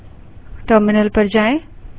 terminal पर जाएँ